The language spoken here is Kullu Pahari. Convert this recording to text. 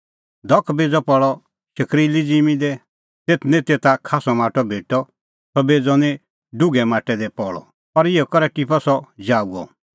धख बेज़अ पल़अ शकरीली ज़िम्मीं दी तेथ निं तेता खास्सअ माटअ भेटअ सह बेज़अ निं डुघै माटै दी पल़अ और इहअ करै टिप्पअ सह जाऊअ